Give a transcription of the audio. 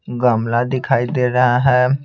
गमला दिखाई दे रहा है।